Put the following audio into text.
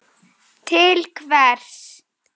Til hvers?